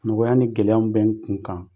Nɔgɔya ni gɛlɛya mun bɛ n kun kan